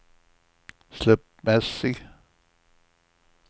slumpmässig